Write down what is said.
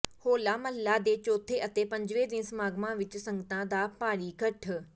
ਹੋਲਾ ਮਹੱਲਾ ਦੇ ਚੌਥੇ ਅਤੇ ਪੰਜਵੇਂ ਦਿਨ ਸਮਾਗਮਾਂ ਵਿਚ ਸੰਗਤਾਂ ਦਾ ਭਾਰੀ ਇਕੱਠ